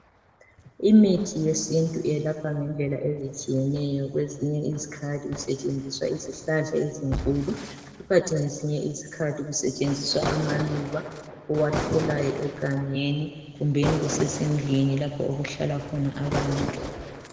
Imithi yesintu ayelapha ngendlela ezitshiyeneyo kwezinye izikhathi kusetshenziswa izhlahla ezinkulu ikant kwezinye izikhathi kusetshenziswa amaluba owatholayo egangeni kumbeni kusesendlini lapho okuhlala khona abantu